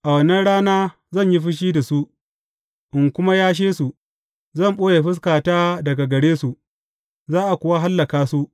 A wannan rana zan yi fushi da su, in kuma yashe su; zan ɓoye fuskata daga gare su, za a kuwa hallaka su.